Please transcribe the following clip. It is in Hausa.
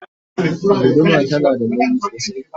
guduma tana da nauyi sosai